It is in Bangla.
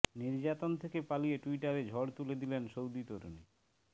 নির্যাতন থেকে পালিয়ে টুইটারে ঝড় তুলে দিলেন সৌদি তরুণী